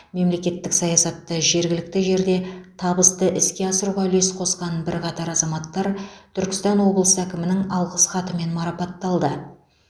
мемлекеттік саясатты жергілікті жерде табысты іске асыруға үлес қосқан бірқатар азаматтар түркістан облысы әкімінің алғыс хатымен марапатталды